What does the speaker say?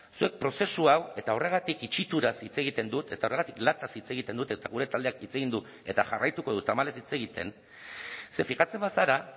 zuek prozesu hau eta horregatik itxituraz hitz egiten dut eta horregatik lataz hitz egiten dut eta gure taldeak hitz egin du eta jarraituko du tamalez hitz egiten ze fijatzen bazara